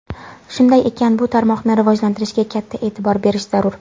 Shunday ekan, bu tarmoqni rivojlantirishga katta e’tibor berish zarur.